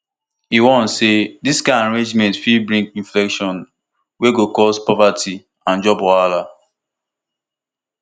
e warn say dis kain arrangement fit bring inflation wey go cause poverty and job wahala